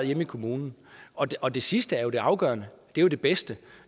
hjemme i kommunen og og det sidste er jo det afgørende det er det bedste